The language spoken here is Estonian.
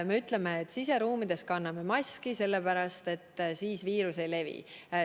Me ütleme, et siseruumides kanname maski, sellepärast et siis viirus ei levi.